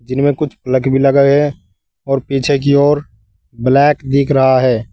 जिनमें कुछ प्लग भी लगाए हैं और पीछे की ओर ब्लैक दिख रहा है।